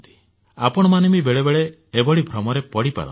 ଆପଣମାନେ ବି ବେଳେ ବେଳେ ଏଭଳି ଭ୍ରମରେ ପଡିପାରନ୍ତି